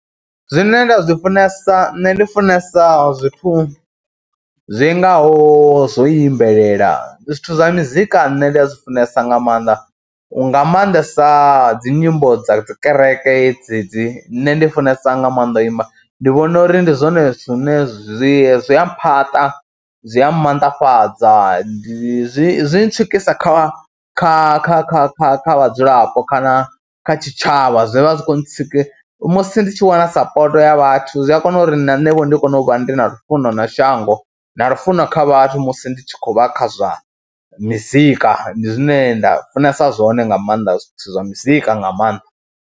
Zwine nda zwi funesa, nṋe ndi funesa zwithu zwi ngaho zwo imbelela zwithu zwa mizika nṋe ndi a zwi funesa nga maanḓa u, nga maanḓesa dzi nyimbo dza dzi kereke dzedzi. Nṋe ndi funesa nga maanḓa u imba, ndi vhona uri ndi zwone zwine zwi zwi a mphaṱa, zwi a maanḓafhadza, zwi zwi tswikisa kha kha kha kha kha kha vhadzulapo kana kha tshitshavha, zwi vha zwi kho ntsi, musi ndi tshi wana sapoto ya vhathu zwi a kona uri na nṋe ho ndi kone u vha ndi na lufuno na shango na lufuno lwa kha vhathu musi ndi tshi khou vha kha zwa muzika, ndi zwine nda funesa zwone nga maanḓa zwithu zwa muzika nga maanḓa.